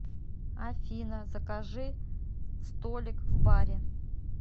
афина закажи столик в баре